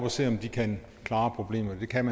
og ser om de kan klare problemet og det kan